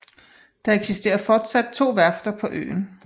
Der eksisterer fortsat to værfter på øen